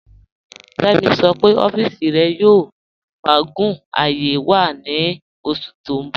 Kẹ́mí ṣọ́ pẹ̀ ọ̀fìísì rẹ̀ yóò fàágún ààyé wọn ní oṣù tí n bọ̀